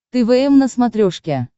твм на смотрешке